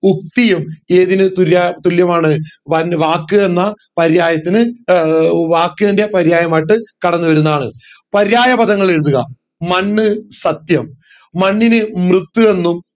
യുക്തിയും ഏതിന് തുല്യമാണ് വൻ വാക്ക് എന്ന പര്യായത്തിന് ഏർ ഏർ വാക്കിൻറെ പര്യായമായിറ്റ് കടന്നു വരുന്നതാണ് പര്യായ പാദങ്ങൾ എഴുതുക മണ്ണ് സത്യം മണ്ണിനു മൃത്ത് എന്നും